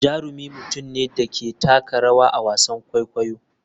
Jarumi mutum ne da ke taka rawa a wasan kwaikwayo.